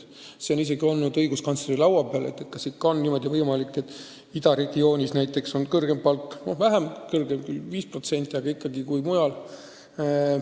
See küsimus on isegi olnud õiguskantsleri laua peal, kas on ikkagi võimalik, et näiteks idaregioonis on kõrgem palk – küll vaid veidi kõrgem, 5%, aga ikkagi kõrgem kui mujal.